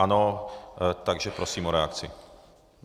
Ano, takže prosím o reakci.